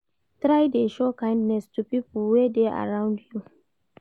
Try de show kindness to pipo wey de arround you